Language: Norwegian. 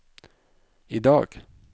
idag